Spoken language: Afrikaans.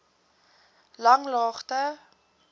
langlaagte